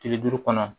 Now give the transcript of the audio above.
Kile duuru kɔnɔ